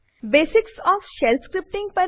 basics of shell scripting